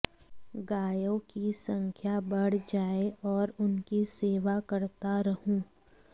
गायों की संख्या बढ़ जाए और उनकी सेवा करता रहूं